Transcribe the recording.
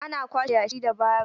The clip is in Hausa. Ana kwashe yashi da baro.